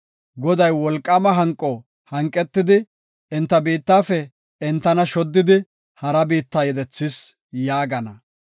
Goday wolqaama hanqo hanqetidi, enta biittafe entana shoddidi hara biitta yedethis” yaagana.